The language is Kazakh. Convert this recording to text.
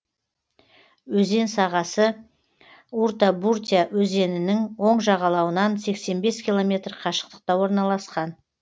өзен сағасы уртабуртя өзенінің оң жағалауынан сексен бес километр қашықтықта орналасқан